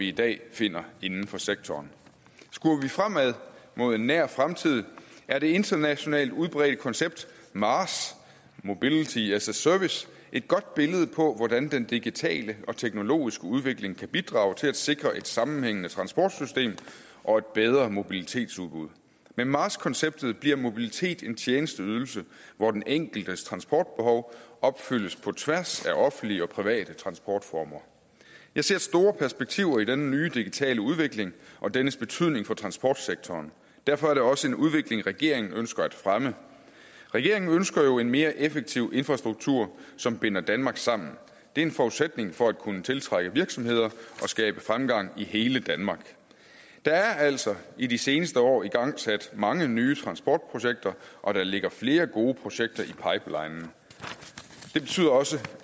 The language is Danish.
i dag findes inden for sektorerne skuer vi fremad mod en nær fremtid er det internationalt udbredte koncept maas mobility as a service et godt billede på hvordan den digitale og teknologiske udvikling kan bidrage til at sikre et sammenhængende transportsystem og et bedre mobilitetsudbud med maas konceptet bliver mobilitet en tjenesteydelse hvor den enkeltes transportbehov opfyldes på tværs af offentlige og private transportformer jeg ser store perspektiver i denne nye digitale udvikling og dennes betydning for transportsektoren derfor er det også en udvikling regeringen ønsker at fremme regeringen ønsker jo en mere effektiv infrastruktur som binder danmark sammen det er en forudsætning for at kunne tiltrække virksomheder og skabe fremgang i hele danmark der er altså i de seneste år igangsat mange nye transportprojekter og der ligger flere gode projekter i pipelinen det betyder også